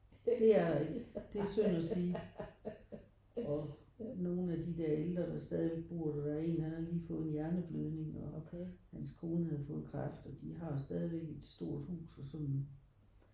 Det er der ikke. Det er synd at sige og nogen af de der ældre der stadigvæk bor der der er en han har lige fået en hjerneblødning og hans kone havde fået kræft og de har stadigvæk et stort hus og sådan